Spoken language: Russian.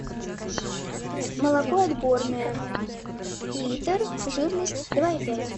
молоко отборное литр жирность два и пять